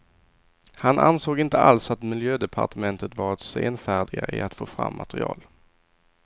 Han ansåg inte alls att miljödepartementet varit senfärdiga i att få fram material.